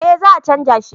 eh za a canja shi